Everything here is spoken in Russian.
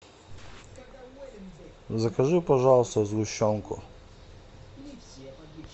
закажи пожалуйста сгущенку